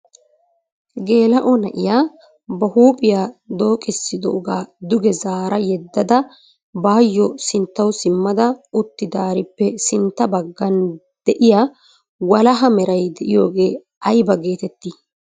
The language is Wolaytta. Gela"o na'iyaa ba huuphiyaa dookissidooga duge zaara yeddada baatyo sinttaw simmada uttidaarippe sintta baggan de'iyaa walaha meray de'iyooge aybba getetti?